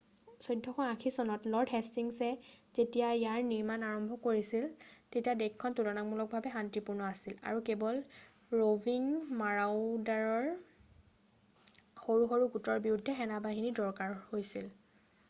1480 চনত লৰ্ড হেষ্টিংছে যেতিয়া ইয়াৰ নিৰ্মাণ কাৰ্য আৰম্ভ কৰিছিল তেতিয়া দেশখন তুলনামূলকভাৱে শান্তিপূৰ্ণ আছিল আৰু কেৱল ৰ’ভিং মাৰাওডাৰৰ সৰু সৰু গোটৰ বিৰুদ্ধেহে সেনেবাহিনীৰ দৰকাৰ হৈছিল।